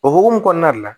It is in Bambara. O hukumu kɔnɔna de la